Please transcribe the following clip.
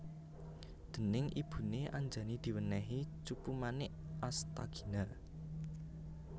Déning ibune Anjani diwènèhi Cupumanik Astagina